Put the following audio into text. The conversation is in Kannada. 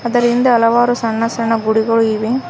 ಅದರ ಹಿಂದೆ ಹಲವಾರು ಸಣ್ಣ ಸಣ್ಣ ಗುಡಿಗಳು ಇವೆ.